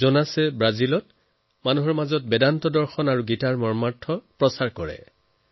জোনাছে ব্ৰাজিলৰ লোকসকলক বেদ আৰু গীতাৰ তত্বৰ শিক্ষা দিয়ে